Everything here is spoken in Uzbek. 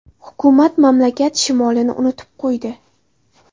Hukumat mamlakat shimolini unutib qo‘ydi.